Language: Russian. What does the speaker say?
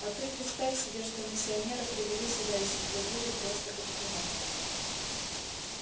а ты представь себе что миссионера привели сюда и освободили просто как приманку